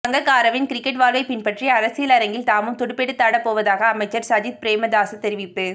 சங்கக்காரவின் cricket வாழ்வை பின்பற்றி அரசியல் அரங்கில் தாமும் துடுப்பெடுத்தாடப்போவதாக அமைச்சர் சஜித் பிரேமதாச தெரிவிப்பு